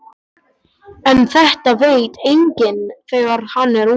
En þetta veit enginn þegar hann er ungur.